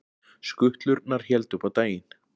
Skutlurnar héldu upp á daginn